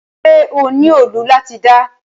Ṣe o ni òòlù lati da?